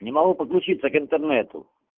не могу подключиться к интернету